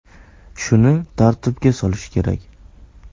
Shuni tartibga solish kerak.